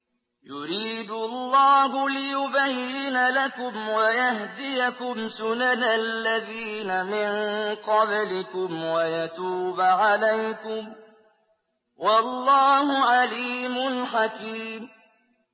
يُرِيدُ اللَّهُ لِيُبَيِّنَ لَكُمْ وَيَهْدِيَكُمْ سُنَنَ الَّذِينَ مِن قَبْلِكُمْ وَيَتُوبَ عَلَيْكُمْ ۗ وَاللَّهُ عَلِيمٌ حَكِيمٌ